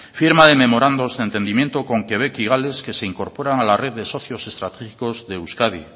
firma de memorandos de entendimiento con quebec y gales que se incorporan a la red de socios estratégicos de euskadi